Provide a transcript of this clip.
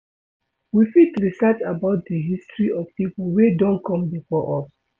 We fit research about di history of pipo wey don come before us